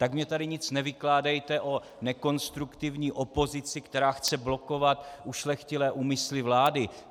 Tak mně tady nic nevykládejte o nekonstruktivní opozici, která chce blokovat ušlechtilé úmysly vlády.